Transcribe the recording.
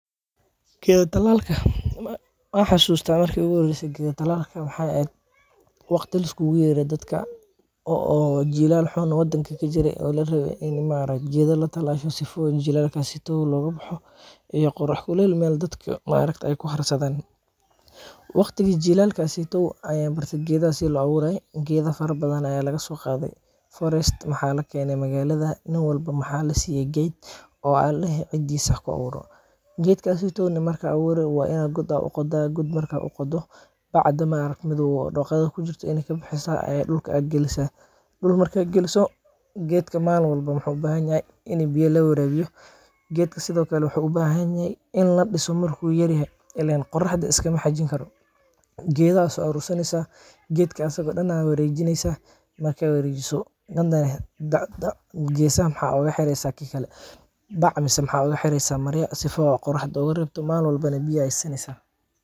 Geeda talaalka, waan xasuusta marki iigu horeyse geeda talaalka, waxeey eheed waqti liskuugu yeere dadka oo jilaal xum wadanka kajire, oo larabe in maaragte geeda latalaalo si jilaalkaas looga baxo, iyo qorax kuleel meel dadka aay kuharsadaan, waqtigi jilaalkaas ayaan barte geedaha sida loo abuure, geeda fara badan ayaa laga soo qaade forest ,waxaa lakeene magaalada, nin walbo waxaa lasiiye geed oo waxaa ladehe cidiisa haku abuuro, geedkaas markaa abuuri waa inaad god uqodaa, markaad uqodo bacda madoow oo dooqada kujirto inaad kabixisaa oo dulka aad galisaa, dulka markaad galiso geedka maalin walbo wuxuu ubahan yahay in biya lawaraabiyo, geedka sido kale wuxuu ubahan yahay in ladiso markuu yar yahay, ileen qoraxda iskama xajin karo, geeda ayaa soo aruur saneysa, geedka asago dan ayaad wareejineysa, hadane geesaha waxaa ooga xireysa bac ama marya, si aay qoraxda ooga reebto, kadib biya ayaa siineysa.